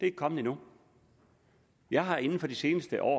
ikke kommet endnu jeg har inden for det seneste år